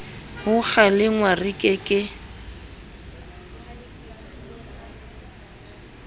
ho kgalengwa re ke ke